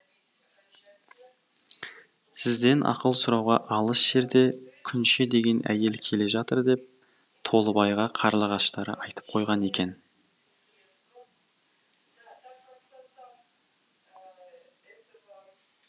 сізден ақыл сұрауға алыс жерде күнше деген әйел келе жатыр деп толыбайға қарлығаштары айтып қойған екен